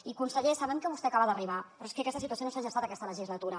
i conseller sabem que vostè acaba d’arribar però és que aquesta situació no s’ha gestat aquesta legislatura